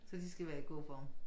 Så de skal være i god form